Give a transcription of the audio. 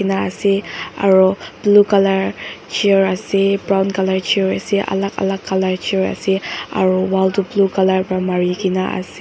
ena ase aro blue colour chair ase brown colour chair ase alak alak colour chair ase aro wall toh blue colour pa marina ase.